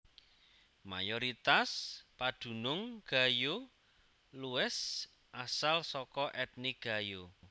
Mayoritas padunung Gayo Lues asal saka ètnik Gayo